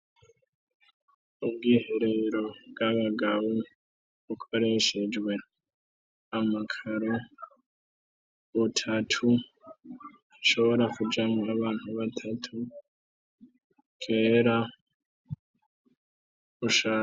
ubwiherero bw'abagabo bukoreshejwe amakaro butatu bushobora kujamwo abantu batatu bwera bushaje.